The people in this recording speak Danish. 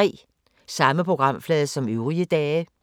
Samme programflade som øvrige dage